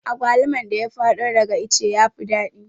Agwaluman da ya fado daga ice yafi daɗi